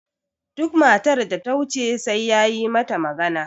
duk matar da ta wuce sai ya yi mata magana